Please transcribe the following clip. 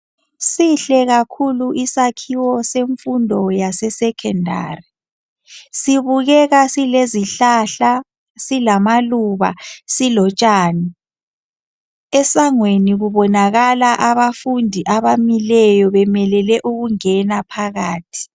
Sihle kakhulu isakhiwo semfundo yase secondary. Sibukeka silezihlahla, silamaluba silotshani. Esangweni kubonakala abafundi abamileyo bemelele ukungena phakathi.